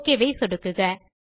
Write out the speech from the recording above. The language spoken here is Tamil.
ஒக் பட்டன் ஐ சொடுக்குக